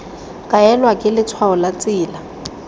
kaelwa ke letshwao la tsela